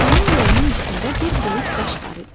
Onun yolunun üstündə bir böyük daş var idi.